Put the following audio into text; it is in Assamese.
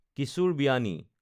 কিশোৰ বিয়ানী